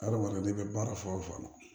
Adamaden bɛ baara fɛn o fɛn na